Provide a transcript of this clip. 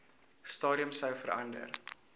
stadium sou verander